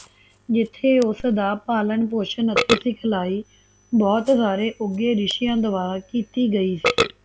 ਜਿੱਥੇ ਉਸਦਾ ਪਾਲਣ ਪੋਸਣ ਅਤੇ ਸਿਖਲਾਈ ਬਹੁਤ ਸਾਰੇ ਉੱਘੇ ਰਿਸ਼ੀਆ ਦੁਆਰਾ ਕੀਤੀ ਗਈ ਸੀ